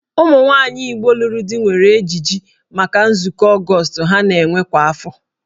Ụmụnwaanyị Igbo lụrụ di nwere ejiji maka nzukọ Ọgọọst ha na-enwe kwa afọ.